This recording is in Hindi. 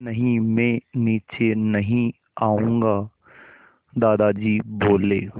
नहीं मैं नीचे नहीं आऊँगा दादाजी बोले